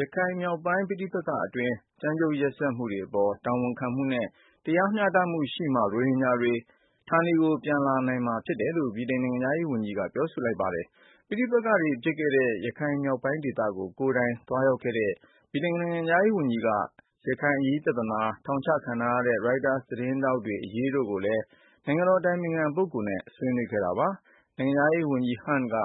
ရခိုင်မြောက်ပိုင်း ပဋိပက္ခတွင်း ကြမ်းကြုတ်ရက်စက်မှုတွေ အပေါ် တာဝန်ခံမှုနဲ့ တရားမျှတမှုရှိမှ ရိုဟင်ဂျာတွေ ဌာနေပြန်နိုင်မှာ ဖြစ်တယ်လို့ ဗြိတိန် နိုင်ငံခြားရေး ဝန်ကြီးက ပြောဆိုလိုက်ပါတယ်။ ပဋိပက္ခတွေ ဖြစ်ခဲ့တဲ့ ရခိုင်မြောက်ပိုင်း ဒေသကို ကိုယ်တိုင်သွားရောက်ခဲ့တဲ့ ဗြိတိန် နိုင်ငံခြားရေး ဝန်ကြီးက ရခိုင်အရေးပြသနာ၊ ထောင်ချခံထားရတဲ့ ရိုက်တာ သတင်းထောက်တွေ အရေးတို့ကိုလည်း နိုင်ငံတော် အတိုင်ပင်ခံ ပုဂ္ဂိုလ်နဲ့ ဆွေးနွေးခဲ့တာပါ။ နိုင်ငံခြားရေး ဝန်ကြီး Hunt က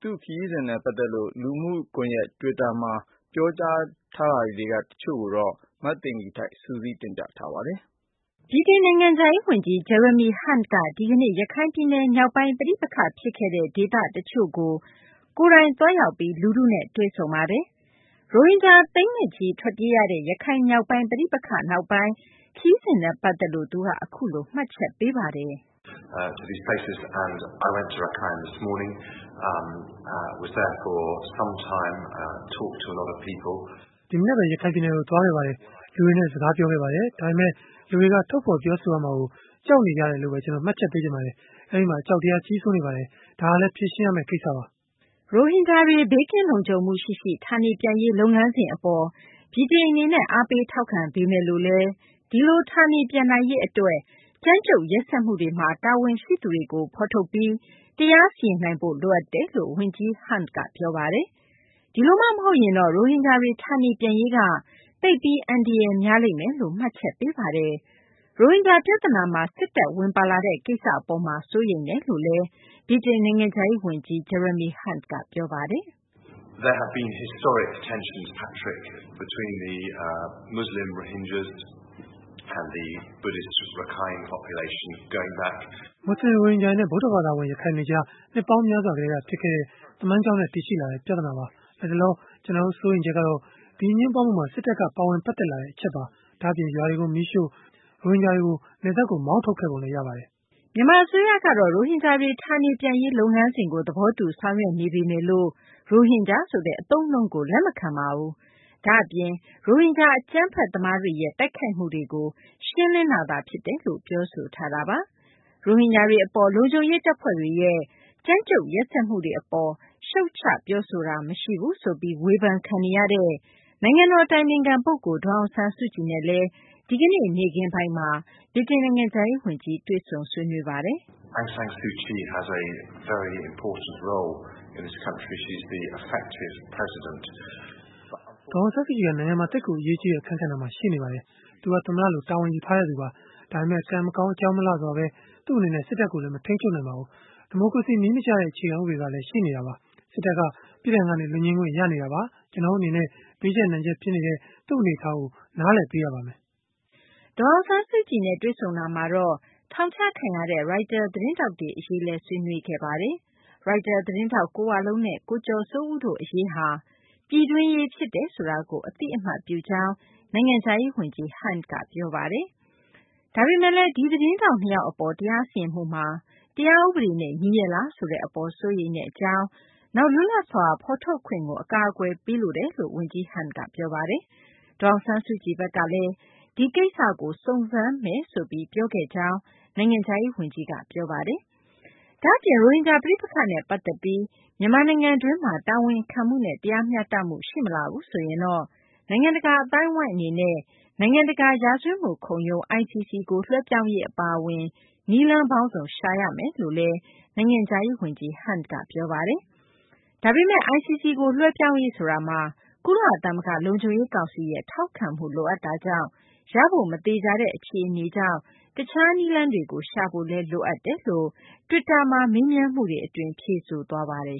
သူ့ခရီးစဉ်နဲ့ ပတ်သက်လို့ လူမှုကွန်ယက် တွစ်တာကနေ မေးမြန်းခဲ့ကြတာတွေကို ဖြေကြားချက်တွေထဲက တချို့ကိုတော့ မသိင်္ဂ ီထိုက် စုစည်းတင်ပြပါမယ်။ ဗြိတိန်နိုင်ငံခြားရေး ဝန်ကြီး Jeremy Huntက ဒီကနေ့ ရခိုင်ပြည်နယ် မြောက်ပိုင်း ပဋိပက္ခ ဖြစ်ခဲ့တဲ့ ဒေသတချို့ကို ကိုယ်တိုင်သွားရောက်ပြီး လူထုနဲ့ တွေ့ဆုံပါတယ်။ ရိုဟင်ဂျာ သိန်းနဲ့ချီ ထွက်ပြေးရတဲ့ ရခိုင်မြောက်ပိုင်း ပဋိပက္ခနောက်ပိုင်း ခရီးစဉ်နဲ့ ပတ်သက်လို့ သူက အခုလို မှတ်ချက်ပေးပါတယ်။ "ဒီမနက်ဘဲ ရခိုင်ပြည်နယ်ကို သွားခဲ့ပါတယ်။ လူတွေနဲ့ စကားပြောခဲ့ပါတယ်။ ဒါပေမယ့် လူတွေက ထုတ်ဖော် ပြောဆိုရမှာကို ကြောက်နေကြတယ်လို့ဘဲ ကျနော် မှတ်ချက်ပေးချင်ပါတယ်။ အဲဒီမှာ အကြောက်တရားက ကြီးစိုးနေပါတယ်။ ဒါကလည်း ဖြေရှင်းရမယ့် ကိစ္စပါ။" ရိုဟင်ဂျာတွေ ဘေးကင်းလုံခြုံမှုရှိရှိ ဌာနေပြန်ရေး လုပ်ငန်းစဉ် အပေါ် ဗြိတိန် အနေနဲ့ အားပေး ထောက်ခံပေမယ့်လည်း ဒီလို ဌာနေပြန်နိုင်ရေး အတွက် ကြမ်းကြုတ်ရက်စက်မှုတွေမှာ တာဝန်ရှိသူတွေကို ဖော်ထုတ်ပြီး တရားစီရင်နိုင်ဖို့ လိုအပ်တယ်လို့ ဝန်ကြီး Hunt က ပြောပါတယ်။ ဒီလိုမှ မဟုတ်ရင်တော့ ရိုဟင်ဂျာတွေ ဌာနေပြန်ရေးက သိပ်ပြီး အန္တရာယ်များလိမ့်မယ်လို့ မှတ်ချက်ပေးပါတယ်။ ရိုဟင်ဂျာ ပြသနာမှာ စစ်တပ် ဝင်ပါလာတဲ့ ကိစ္စ အပေါ်မှာ စိုးရိမ်တယ်လို့လည်း ဗြိတိန် နိုင်ငံခြားရေး ဝန်ကြီး Jeremy Hunt က ပြောပါတယ်။ "မူဆလင် ရိုဟင်ဂျာတွေနဲ့ ဗုဒ္ဓဘာသာဝင် ရခိုင်တွေကြား နှစ်ပေါင်းများစွာ ကတည်းက ဖြစ်ခဲ့တဲ့ သမိုင်းကြောင်းနဲ့ တည်ရှိလာတဲ့ ပြဿနာပါ။ လတ်တလော ကျနော်တို့ စိုးရိမ်ချက်ကတော့ ဒီအငြင်းပွားမှုမှာ စစ်တပ်က ပါဝင် ပတ်သက်လာတဲ့ အချက်ပါ။ ဒါ့အပြင် ရွာတွေကို မီးရှို့၊ ရိုဟင်ဂျာတွေကို နယ်စပ်ကို မောင်းထုတ်ခဲ့ပုံလည်း ရပါတယ်။" မြန်မာ အစိုးရကတော့ ရိုဟင်ဂျာတွေ ဌာနေပြန်ရေး လုပ်ငန်းစဉ်ကို သဘောတူ ဆောင်ရွက်နေပေမယ်လို့ ရိုဟင်ဂျာဆိုတဲ့ အသုံးအနှုန်းကို လက်မခံပါဘူး။ ဒါ့အပြင် ရိုဟင်ဂျာ အကြမ်းဖက် သမားတွေရဲ့ တိုက်ခိုက်မှုတွေကို ရှင်းလင်းတိုက်ခိုက်တာသာ ဖြစ်တယ်လို့ ပြောဆိုထားတာပါ။ ရိုဟင်ဂျာတွေ အပေါ် လုံခြုံရေး တပ်ဖွဲ့တွေရဲ့ ကြမ်းကြုတ် ရက်စက်မှုတွေ အပေါ် ရှုတ်ချ ပြောဆိုတာ မရှိဘူးဆိုပြီး ဝေဖန်ခံနေရတဲ့ နိုင်ငံတော် အတိုင်ပင်ခံ ပုဂ္ဂိုလ် ဒေါ်အောင်ဆန်းစုကြည်နဲ့လည်း ဒီကနေ့ နေ့ခင်းပိုင်းမှာ ဗြိတိန် နိုင်ငံခြားရေး ဝန်ကြီး တွေ့ဆုံဆွေးနွေးခဲ့တာပါ။ "ဒေါ်အောင်ဆန်းစုကြည်က နိုင်ငံမှာ သိပ်ကို အရေးကြီးတဲ့ အခန်းကဏ္ဍမှာ ရှိနေပါတယ်။ သူမက သမ္မတလို တာဝန်ယူထားသူပါ။ ဒါပေမယ့် ကံမကောင်း အကြောင်းမလှစွာဘဲ သူမ အနေနဲ့ စစ်တပ်ကို မထိန်းချုပ်နိုင်ပါဘူး။ ဒီမိုကရေစီ နည်းမကျတဲ့ အခြေခံ ဥပဒေ က ရှိနေတာပါ။ စစ်တပ်က ပြစ်ဒဏ်ကနေ လွတ်ငြိမ်းခွင့် ရနေတာပါ။ ကျနော်တို့ အနေနဲ့ ဘေးကျပ် နံကျပ် ဖြစ်နေတဲ့ သူမရဲ့ အနေအထားကို နားလည်ပေးရပါမယ်။" ဒေါ်အောင်ဆန်းစုကြည်နဲ့ တွေ့ဆုံတာမှာတော့ ထောင်ချခံရတဲ့ ရိုက်တာ သတင်းထောက်တွေ အရေးလည်း ဆွေးနွေးခဲ့တာပါ။ ထောင်ချခံထားရတဲ့ ရိုက်တာ သတင်းထောက် ကိုဝလုံးနဲ့ ကိုကျော်စိုးဦးတို့ နှစ်ဦး အရေးဟာ ပြည်တွင်းရေး ဖြစ်တယ်ဆိုတာကို အသိအမှတ်ပြုကြောင်း ဗြိတိန်နိုင်ငံခြားရေး ဝန်ကြီး Hunt က ပြောပါတယ်။ ဒါပေမယ့် ဒီသတင်းထောက် နှစ်ယောက်အပေါ် တရားစီရင်မှုမှာ တရားဥပဒေနဲ့ ညီရဲ့လားဆိုတဲ့ အပေါ် စိုးရိမ်မှု၊ နောက် လွတ်လပ်စွာ ဖော်ထုတ်ခွင့်ကို အကာအကွယ်ပေးလိုတယ်လို့လည်း ဝန်ကြီး Hunt က ပြောပါတယ်။ ဒေါ်အောင်ဆန်းစုကြည်ဘက်ကလည်း ဒီကိစ္စကို စုံစမ်းပါမယ်လို့ ပြောခဲ့ကြောင်းလည်း ဗြိတိန် နိုင်ငံခြားရေး ဝန်ကြီး Jeremy Hunt က တွစ်တာမှာ မေးမြန်းချက်ကို ပြန်ပြီး ဖြေကြားထားတာပါ။ ဒါ့အပြင် ရိုဟင်ဂျာ ပဋိပက္ခနဲ့ ပတ်သက်ပြီး မြန်မာနိုင်ငံတွင်းမှာ တာဝန်ခံမှုနဲ့ တရားမျှတမှု ရှိမလာဘူးဆိုရင်တော့ နိုင်ငံတကာ အသိုင်းအဝိုင်း အနေနဲ့ နိုင်ငံတကာ ရာဇဝတ်မှု ခုံရုံး ICC ကို လွှဲပြောင်းရေး အပါအဝင် နည်းလမ်းပေါင်းစုံ ရှာကြရမယ်လို့လည်း ဗြိတိန် နိုင်ငံခြားရေး ဝန်ကြီးက ပြောဆိုပါတယ်။ ဒါပေမယ့် ICC ကို လွှဲပြောင်းရေးဆိုတာမှာ ကုလသမဂ္ဂ လုံခြုံရေး ကောင်စီရဲ့ ထောက်ခံမှု လိုအပ်တာကြောင့် ရဖို့ မသေချာတဲ့ အခြေအနေကြောင့် တခြား နည်းလမ်းတွေကို ရှာဖို့လည်း လိုအပ်တယ်လို့ ပြောဆိုသွားပါတယ်